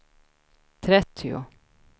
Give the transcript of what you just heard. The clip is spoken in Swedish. trettio